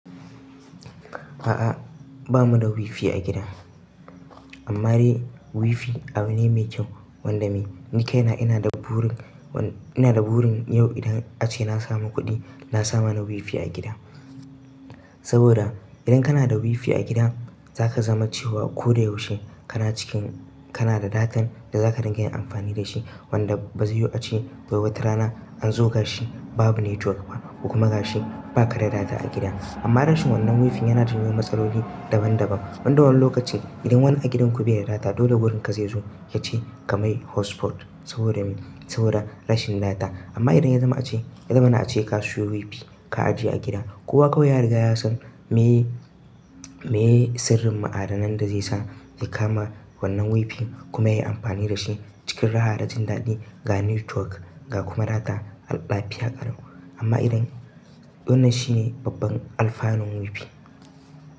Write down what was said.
A'a, ba mu da WiFi a gida. Amma dai WiFi abu ne mai kyau, wanda me ni kai na ina da burin, wanda ina da burin yau idan ace na samu kuɗi, na sa mana WiFi a gida. Saboda idan kana da WiFi a gida, za ka zama cewa ko da yaushe kana cikin, kana da datan da za ka rinƙa yin amfani da shi. Wanda ba zai yuwu ace, wai wata rana an zo gashi babu network ba, kuma gashi ba ka da data a gida. Amma rashin wannan WiFi yana janyo matsaloli daban daban. Wanda wani lokaci idan wani a gidanku biye da data dole gurin ka zai zo ya ce ka mai hotspot saboda, mai saboda rashin data. Amma idan ya zama ace, ya zama na ace ka siyo WiFi ka ajiye a gida, kowa kawai ya riga yasan meye, meye sirrin ma'adanan da zai sa ya kama wannan WiFi kuma yai amfani da shi cikin raha da jin daɗi ga network ga kuma data a lafiya ƙalau. Amma idan wannan shine babban alfanun WiFi.